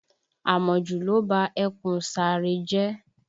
Àmọ̀jù ló ba ẹkùn Saare jẹ́